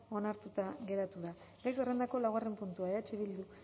onartuta geratzen da gai zerrendako laugarren puntua eh bildu